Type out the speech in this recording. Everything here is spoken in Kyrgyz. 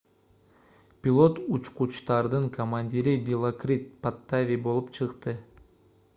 пилот учкучтардын командири дилокрит паттави болуп чыкты